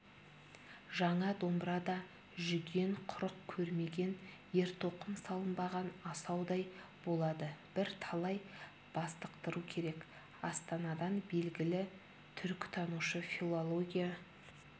жаңа домбыра да жүген-құрық көрмеген ертоқым салынбаған асаудай болады бірталай бастықтыру керек астанадан белгілі түркітанушы филология